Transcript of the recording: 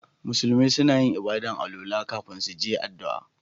Musulmi suna yin ibada'n alwala kafin su je addu'a.